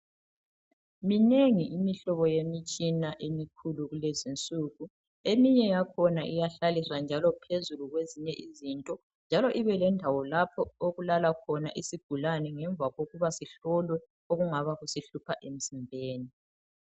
Minengi imihlobo yemitshina emikhulu kulezinsuku eminye yakhona iyahlaliswa njalo phezulu kwezinye izinto njalo ibelendawo lapho okulala khona isigulane ngemva kokuba sihloliwe okungaba kusihlupha emzimbeni.